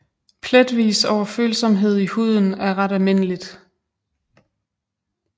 Pletvis overfølsomhed i huden er ret almindeligt